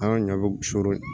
An ka ɲɔ bɛ surun